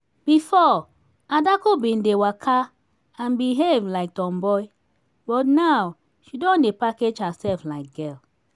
before adaku bin dey waka and behave like tomboy but now she don dey package herself like girl